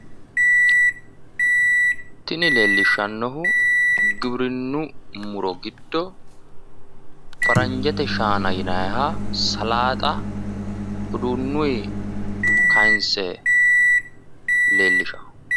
Tini leellishshannohu giwirinnu muro giddo, faranjete shaana yinanniha salaaxa uduunuyi kaayinsse leellishanno.